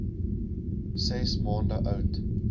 ses maande oud